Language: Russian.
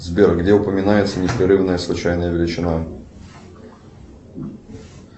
сбер где упоминается непрерывная случайная величина